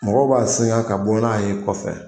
Mɔgɔ b'a singan ka bɔ n'a ye kɔfɛ.